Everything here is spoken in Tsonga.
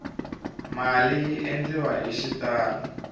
mali yi endliwa hi xitalo